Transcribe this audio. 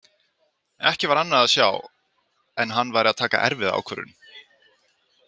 Ekki var annað að sjá en hann væri að taka erfiða ákvörðun.